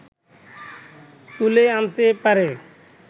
তুলে আনতে পারে